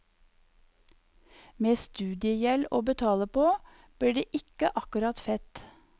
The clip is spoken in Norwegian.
Med studiegjeld å betale på, blir det ikke akkurat fett.